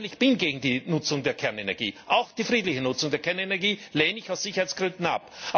Ich persönlich bin gegen die Nutzung der Kernenergie auch die friedliche Nutzung der Kernenergie lehne ich aus Sicherheitsgründen ab.